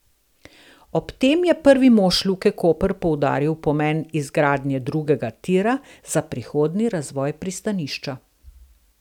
Ob tem je prvi mož Luke Koper poudaril pomen izgradnje drugega tira za prihodnji razvoj pristanišča.